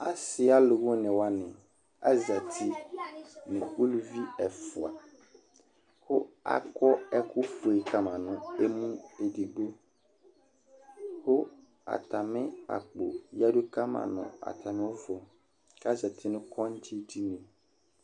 Asi aluvʋini wʋani, azati nu uluvi ɛfʋa, ku akɔ ɛku fue kama nu emu edigbo, ku ata mi akpo yadu kama nu ata mivu, ku azati nu kɔŋdzi dini